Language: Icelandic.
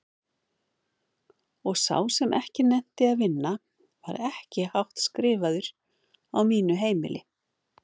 Og sá sem ekki nennti að vinna var ekki hátt skrifaður á mínu heimili.